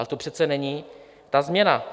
Ale to přece není ta změna.